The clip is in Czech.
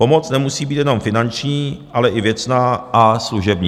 Pomoc nemusí být jenom finanční, ale i věcná a služební.